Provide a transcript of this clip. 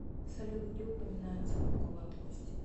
салют где упоминается лобковая кость